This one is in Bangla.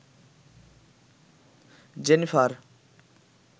জেনিফার